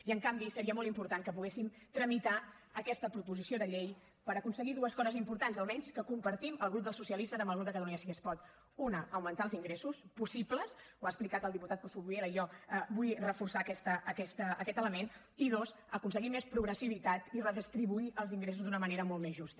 i en canvi seria molt important que poguéssim tramitar aquesta proposició de llei per aconseguir dues coses importants almenys que compartim el grup dels socialistes amb el grup de catalunya sí que es pot una augmentar els ingressos possibles ho ha explicat el diputat coscubiela i jo vull reforçar aquest element i dos aconseguir més progressivitat i redistribuir els ingressos d’una manera molt més justa